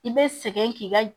I bɛ sɛgɛn k'i ka